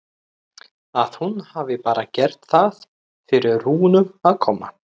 Að hún hafi bara gert það fyrir Rúnu að koma.